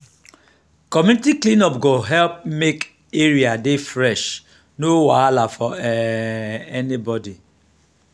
community clean up go help make area dey fresh no wahala for um anybody.